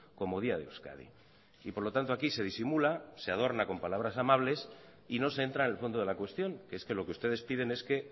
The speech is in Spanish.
como día de euskadi y por lo tanto aquí se disimula se adorna con palabras amables y no se entra en el fondo de la cuestión que es que lo que ustedes piden es que